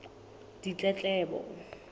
ditletlebo